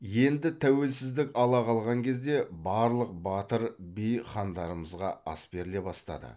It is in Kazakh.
енді тәуелсіздік ала қалған кезде барлық батыр би хандарымызға ас беріле бастады